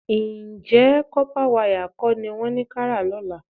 Ǹjẹ́ kọ́pá wayà kọ́ ni wọ́n ní ká rà lọ́la?